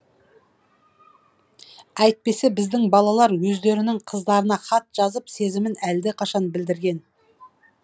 әйтпесе біздің балалар өздерінің қыздарына хат жазып сезімін әлдеқашан білдірген